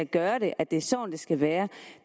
gøre det at det er sådan det skal være